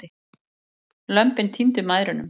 Lömbin týndu mæðrunum.